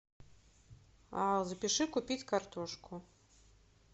запиши купить картошку